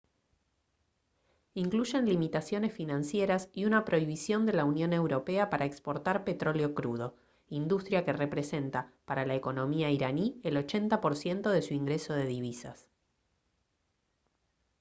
incluyen limitaciones financieras y una prohibición de la unión europea para exportar petróleo crudo industria que representa para la economía iraní el 80 % de su ingreso de divisas